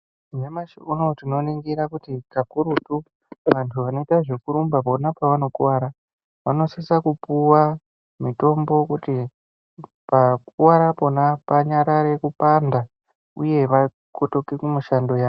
Nyamashi unowu tinoningira kuti kakurutu anthu anoita zvekurumba vona pavanokuwara vanosisa kupuwa mutombo wekuti pakuwara pona panyarare kupanda uye vakotoke kumishando yavo.